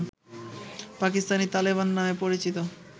পাকিস্তানি তালেবান নামে পরিচিত